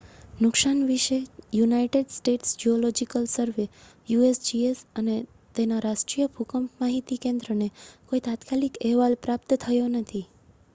નુકસાન વિશે United States Geological Survey usgsને અને તેના રાષ્ટ્રીય ભૂકંપ માહિતી કેન્દ્રને કોઈ તાત્કાલિક અહેવાલ પ્રાપ્ત થયો નથી